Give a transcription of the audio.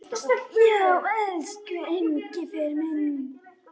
Já, elsku Engifer minn.